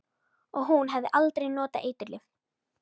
Og hún hafði aldrei notað eiturlyf.